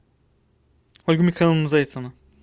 ольга михайловна зайцева